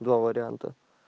два варианта